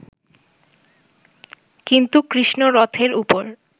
কিন্তু কৃষ্ণ রথের উপর